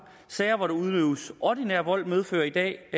sager hvori der udøves ordinær vold medfører i dag